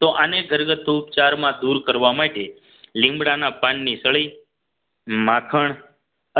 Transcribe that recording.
તો આને ઘરગથ્થુ ઉપચારમાં દૂર કરવા માટે લીમડાના પાનની સળી માખણ